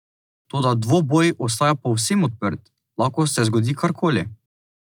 Toda dvoboj ostaja povsem odprt, lahko se zgodi kar koli.